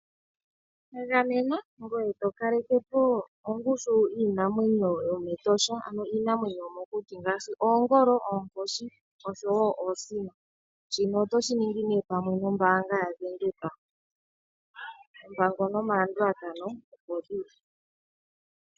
Gamena ngoye tokaleke po ongushu yiinamwenyo yomEtosha ano iinamwenyo yomokuti ngaashi : oongolo, oonkoshi oshowo oosino. Shino otoshi ningi nee pamwe nombaanga yavenduka, oompango nomalandulathano opo dhili.